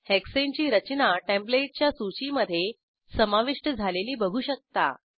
hexane ची रचना टेंप्लेटच्या सूचीमधे समाविष्ट झालेली बघू शकता